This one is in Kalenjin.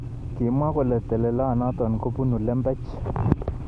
Kimwa kole telelonotok ko bonu lembech.